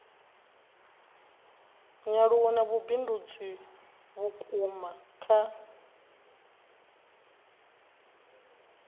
nyaluwo na vhubindudzi vhuuku kha